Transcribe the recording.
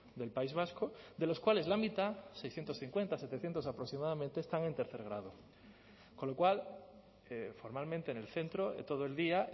del país vasco de los cuales la mitad seiscientos cincuenta setecientos aproximadamente están en tercer grado con lo cual formalmente en el centro todo el día